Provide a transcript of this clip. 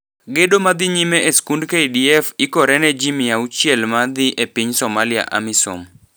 Gedo madhi nyime e skund KDF ikore ne ji mia auchiel madhi e piny Somalia (Amisom).